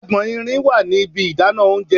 Agbọ̀n irin wà ní ibi ìdáná oúnjẹ.